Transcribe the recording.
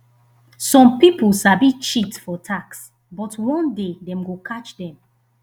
some people sabi cheat for tax but one day dem go catch them